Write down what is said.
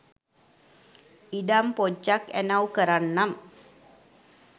ඉඩම් පොජ්ජක් ඇනව්කරන්නම්.